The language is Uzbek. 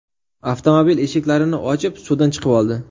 avtomobil eshiklarini ochib, suvdan chiqib oldi.